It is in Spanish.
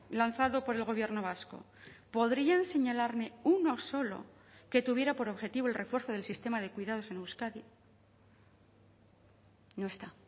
lanzado por el gobierno vasco podrían señalarme uno solo que tuviera por objetivo el refuerzo del sistema de cuidados en euskadi no está